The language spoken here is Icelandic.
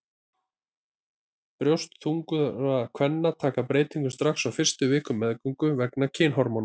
Brjóst þungaðra kvenna taka breytingum strax á fyrstu vikum meðgöngu vegna kynhormóna.